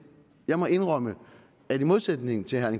jeg må indrømme at i modsætning til herre